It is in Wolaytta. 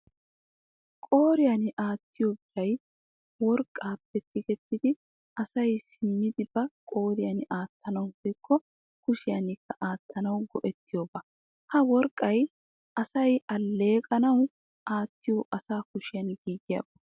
Qooriyaan aattiyoo biray worqqappe tigetidi asay simmidi ba qoriyaan aattanawu woykko kushiyaankka aattanawu go"ettiyoobaa. Ha worqqay asay alleequwawu aattiyoo asaa kushiyan giigiyaabaa.